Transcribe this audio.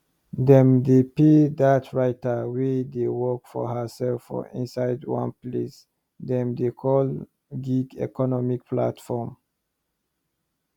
dem dey pay dat writer wey dey work for hersef for inside one place dem dey call gig economy platform